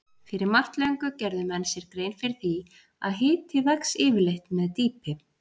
Fyrir margt löngu gerðu menn sér grein fyrir því að hiti vex yfirleitt með dýpi.